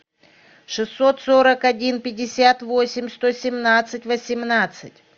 шестьсот сорок один пятьдесят восемь сто семнадцать восемнадцать